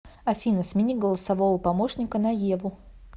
афина смени голосового помощника на еву